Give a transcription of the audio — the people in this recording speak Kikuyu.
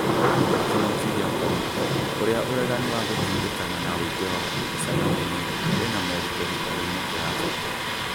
Kĩng'uki gĩa korona: ũrĩa ũregani wa gũtindĩkana na wũingĩ wa andũ mĩcenanio-inĩ wĩna morito gĩtaroinĩ kia Afrika